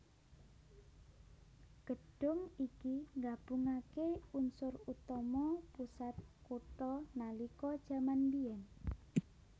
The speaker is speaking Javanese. Gedhung iki nggabungaké unsur utama pusat kutha nalika jaman mbiyen